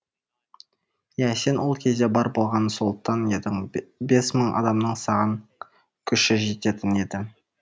иә сен ол кезде бар болғаны сұлтан едің бес мың адамның саған күші жететін еді